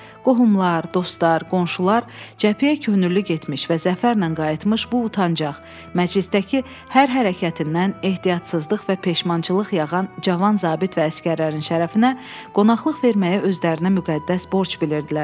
Qohumlar, dostlar, qonşular cəbhəyə könüllü getmiş və zəfərlə qayıtmış bu utancaq, məclisdəki hər hərəkətindən ehtiyatsızlıq və peşmançılıq yağan cavan zabit və əsgərlərin şərəfinə qonaqlıq verməyə özlərinə müqəddəs borc bilirdilər.